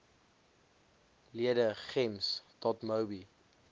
lede gems dotmobi